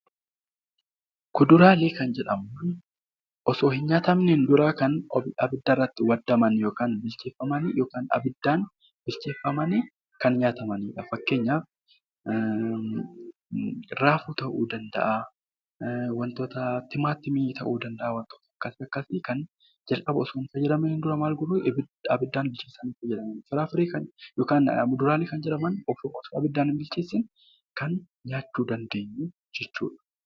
Muduraalee kan jennuun osoo hin nyaatamiin dura kan abiddatti waadaman yookaan immoo abiddaan bilcheeffamiin nyaataman fakkeenyaaf raafuu ta'uu danda'a tilmaamii ta'uu danda'a